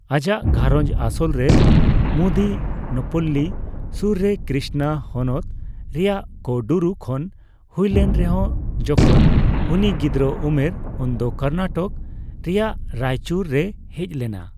ᱟᱡᱟᱜ ᱜᱷᱟᱨᱚᱡᱽ ᱟᱥᱚᱞ ᱨᱮ ᱢᱩᱫᱤᱱᱮᱯᱚᱞᱞᱤ ᱥᱩᱨ ᱨᱮ ᱠᱨᱤᱥᱱᱟ ᱦᱚᱱᱚᱛ ᱨᱮᱭᱟᱜ ᱠᱳᱰᱩᱨᱩ ᱠᱷᱚᱱ ᱦᱩᱭᱞᱮᱱ ᱨᱮᱦᱚᱸ, ᱡᱚᱠᱷᱚᱱ ᱩᱱᱤ ᱜᱤᱫᱽᱨᱟᱹ ᱩᱢᱮᱨ ᱩᱱ ᱫᱚ ᱠᱚᱨᱱᱟᱴᱚᱠ ᱨᱮᱭᱟᱜ ᱨᱟᱭᱪᱩᱨ ᱨᱮᱭ ᱦᱮᱡ ᱞᱮᱱᱟ ᱾